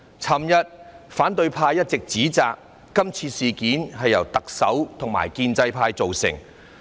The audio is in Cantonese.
昨天反對派一直指摘，說今次事件是由特首和建制派造成。